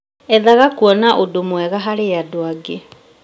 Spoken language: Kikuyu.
Ethaga kuona ũndũ mwega harĩ andũ angĩ